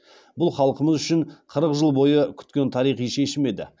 бұл халқымыз үшін қырық жыл бойы күткен тарихи шешім еді